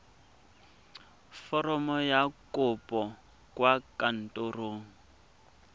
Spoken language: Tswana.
foromo ya kopo kwa kantorong